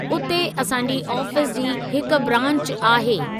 उते असांजी आफीस जी हिक ब्रांच आहे।